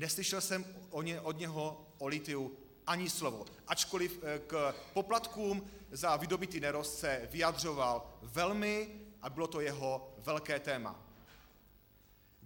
Neslyšel jsem od něho o lithiu ani slovo, ačkoliv k poplatkům za vydobytý nerost se vyjadřoval velmi a bylo to jeho velké téma.